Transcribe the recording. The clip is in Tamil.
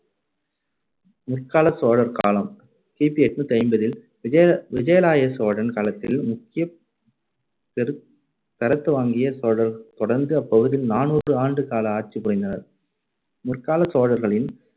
முற்காலச் சோழர் காலம் கி பி எண்ணூத்தி ஐம்பதில் விஜய~ விஜயாலய சோழன் காலத்தில் முக்கியத்~ பெறு~ பெறத்துவங்கிய சோழர் தொடர்ந்து அப்பகுதியில் நானூறு ஆண்டு கால ஆட்சி புரிந்தனர். முற்காலச் சோழர்களின்